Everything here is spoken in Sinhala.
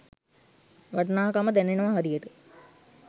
වටිනාකම දැනෙනව හරියට.